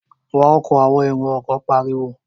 Wa ọkọ̀! àwọn èrò ọkọ̀ pariwo